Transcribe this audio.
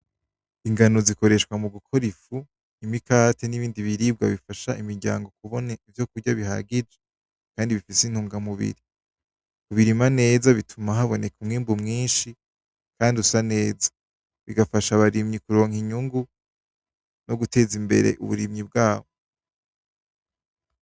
Ingano zikoreshwa mu gukora ifu imikate n'ibindi biribwa bifasha imiryango kubona ivyokurya bihagije, kandi bifise intungamubiri. Birima neza, bituma haboneka umwimbu mwinshi, kandi usa neza bigafasha abarimyi kuronka inyungu, no guteza imbere uburimyi bwabo.